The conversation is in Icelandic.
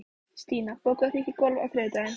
Stína, bókaðu hring í golf á þriðjudaginn.